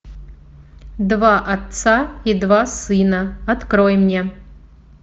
два отца и два сына открой мне